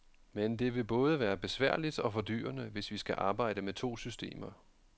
Men det vil både være besværligt og fordyrende, hvis vi skal arbejde med to systemer.